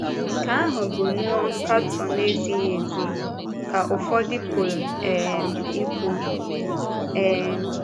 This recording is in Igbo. ‘Nke ahụ bụ̀ nnọọ nkatọ na-ezighị ezi,’ ka ụfọdụ pụrụ um ikwu. um